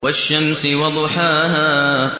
وَالشَّمْسِ وَضُحَاهَا